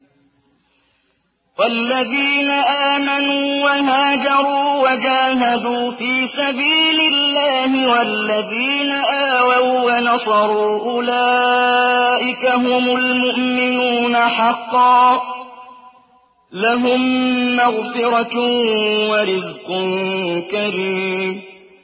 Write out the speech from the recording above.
وَالَّذِينَ آمَنُوا وَهَاجَرُوا وَجَاهَدُوا فِي سَبِيلِ اللَّهِ وَالَّذِينَ آوَوا وَّنَصَرُوا أُولَٰئِكَ هُمُ الْمُؤْمِنُونَ حَقًّا ۚ لَّهُم مَّغْفِرَةٌ وَرِزْقٌ كَرِيمٌ